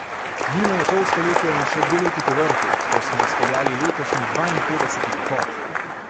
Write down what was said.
Mimo je pol stoletja in še dve leti povrhu, ko smo speljali letošnji, dvainpetdeseti pohod.